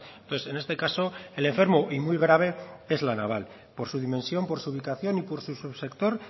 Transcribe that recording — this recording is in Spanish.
entonces en este caso el enfermo y muy grave es la naval por su dimensión por su ubicación y por su subsector